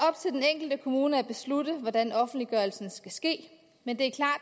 enkelte kommune at beslutte hvordan offentliggørelsen skal ske men det er